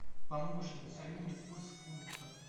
помощник назови мне курс фунта